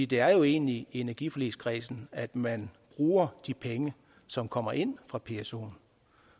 det er jo egentlig i energiforligskredsen at man bruger de penge som kommer ind fra pso